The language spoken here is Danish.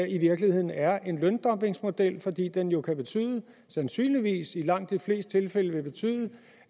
i virkeligheden er en løndumpingmodel fordi den jo sandsynligvis i langt de fleste tilfælde vil betyde